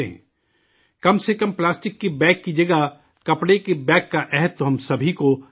کم از کم پلاسٹک کے بیگ کی جگہ کپڑے کے بیگ کا عہد تو ہم سب کو ہی لینا چاہیے